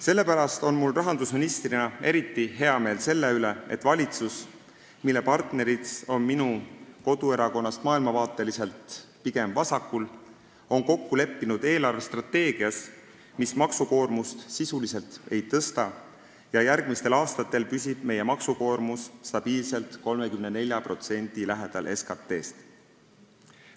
Sellepärast on mul rahandusministrina eriti hea meel selle üle, et valitsus, kus osalevad partnerid on maailmavaate poolest minu koduerakonnast pigem vasakul, on kokku leppinud eelarvestrateegias, mis maksukoormust sisuliselt ei suurenda, ja järgmistel aastatel püsib meie maksukoormus stabiilselt 34% lähedal SKT-st.